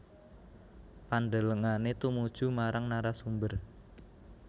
Pandelengane tumuju marang narasumber